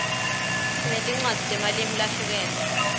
sinetinwadzi temalimu zahlukeme